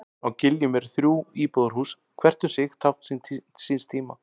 Á Giljum eru þrjú íbúðarhús, hvert um sig tákn síns tíma.